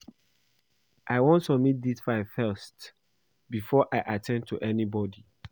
I wan submit dis file first before I at ten d to anybody